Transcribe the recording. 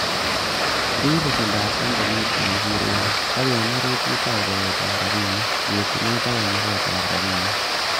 Rib besendab kampunit komosir uyan, ak en orit itou chobetab rabinik, yetunet ak konoret ab rabinik.